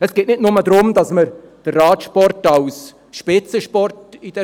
Es geht nicht nur darum, dass wir den Radsport in dieser Sache als Spitzensport fördern.